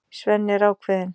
Svenni er ákveðinn.